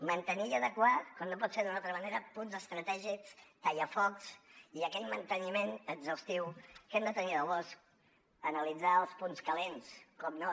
mantenir i adequar com no pot ser d’una altra manera punts estratègics tallafocs i aquell manteniment exhaustiu que hem de tenir del bosc analitzar els punts calents evidentment